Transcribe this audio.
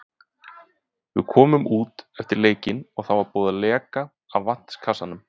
Við komum út eftir leikinn og þá var búið að leka af vatnskassanum.